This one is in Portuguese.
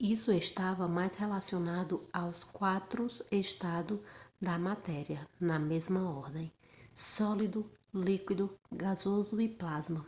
isso estava mais relacionado aos quatro estados da matéria na mesma ordem: sólido líquido gasoso e plasma